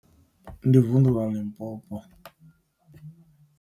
Ndi vunḓu ḽa Limpopo.